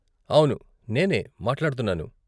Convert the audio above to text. అవును, నేనే మాట్లాడుతున్నాను.